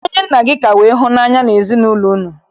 Kedụ onye nna gị ka wee hụ n'anya n'ezinaụlọ unu?